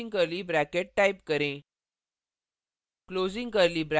फिर closing curly bracket } type करें